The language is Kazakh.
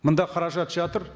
мында қаражат жатыр